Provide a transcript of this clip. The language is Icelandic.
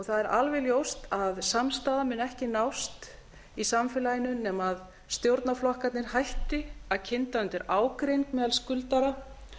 það er alveg ljóst að samstaða mun ekki nást í samfélaginu nema stjórnarflokkarnir hætti að kynda undir ágreining meðal skuldara